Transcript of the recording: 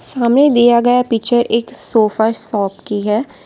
सामने दिया गया पिक्चर एक सोफा शॉप की है।